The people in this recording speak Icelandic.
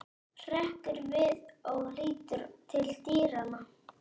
Hrekkur við og lítur til dyranna.